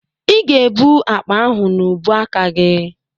Ị ga-ebu akpa ahụ n'ubuaka gị.